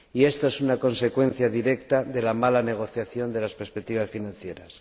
Y esto es una consecuencia directa de la mala negociación de las perspectivas financieras.